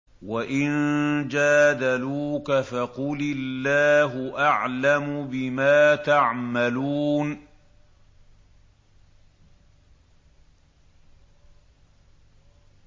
وَإِن جَادَلُوكَ فَقُلِ اللَّهُ أَعْلَمُ بِمَا تَعْمَلُونَ